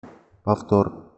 повтор